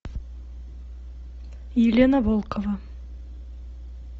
елена волкова